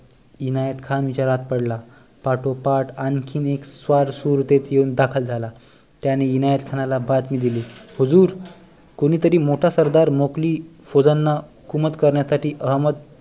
इनायत खान विचारात पडला पाठोपाठ आणखी एक स्वार सुरतेत येऊन दाखल झाला त्याने इनायत खानला बातमी दिली हुजूर कोणीतरी मोठा सरदार मोंघली फौजांना हुकूमत करण्या साठी अहमद